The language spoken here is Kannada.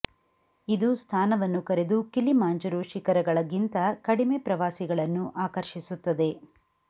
ಇದು ಸ್ಥಾನವನ್ನು ಕರೆದು ಕಿಲಿಮಾಂಜರೋ ಶಿಖರಗಳ ಗಿಂತ ಕಡಿಮೆ ಪ್ರವಾಸಿಗಳನ್ನು ಆಕರ್ಷಿಸುತ್ತದೆ